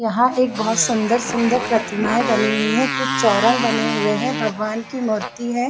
यहाँ एक बहोत सुंदर-सुंदर प्रतिमाएँ बनी हुई है कुछ चौरन्ग बने हुए है भगवान की मूर्ति हैं ।